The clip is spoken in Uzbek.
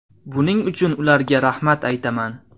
Buning uchun ularga rahmat aytaman.